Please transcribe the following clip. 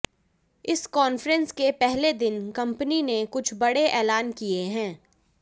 इस कॉन्फ्रेंस के पहले दिन कंपनी ने कुछ बडे़ ऐलान किए हैं